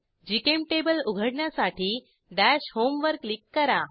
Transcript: GChemTable उघडण्यासाठी दश home वर क्लिक करा